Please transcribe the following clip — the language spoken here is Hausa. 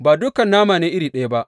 Ba dukan nama ne iri ɗaya ba.